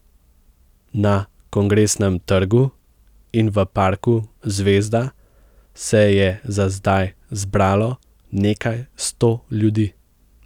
Na Kongresnem trgu in v parku Zvezda se je za zdaj zbralo nekaj sto ljudi.